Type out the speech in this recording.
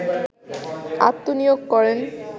আত্মনিয়োগ করেন